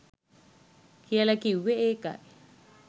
කියල කිව්වෙ ඒකයි.